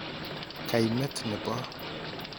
" Kaimet nebo